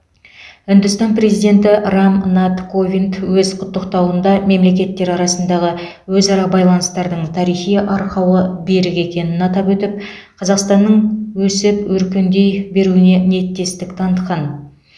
үндістан президенті рам нат ковинд өз құттықтауында мемлекеттер арасындағы өзара байланыстардың тарихи арқауы берік екенін атап өтіп қазақстанның өсіп өркендей беруіне ниеттестік танытқан